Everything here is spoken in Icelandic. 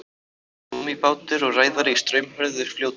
gúmmíbátur og ræðari í straumhörðu fljóti